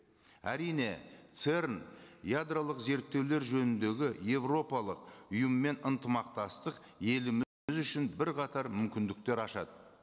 әрине церн ядролық зерттеулер жөніндегі еуропалық ұйымымен ынтымақтастық үшін бірқатар мүмкіндіктер ашады